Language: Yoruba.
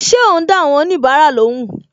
Ṣé o n da awon onibara lóhùn